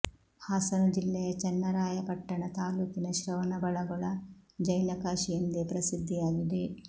ಹಾಸನ ಜಿಲ್ಲೆಯ ಚನ್ನರಾಯಪಟ್ಟಣ ತಾಲೂಕಿನ ಶ್ರವಣಬೆಳಗೊಳ ಜೈನ ಕಾಶಿ ಎಂದೇ ಪ್ರಸಿದ್ಧಿಯಾಗಿದೆ